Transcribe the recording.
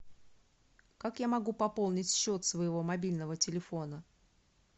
как я могу пополнить счет своего мобильного телефона